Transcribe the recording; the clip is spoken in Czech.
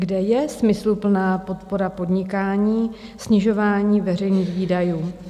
Kde je smysluplná podpora podnikání, snižování veřejných výdajů?